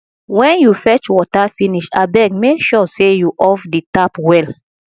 wen you fetch water finish abeg make sure sey you off di tap well